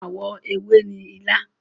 Àwọ ewe ni ilá.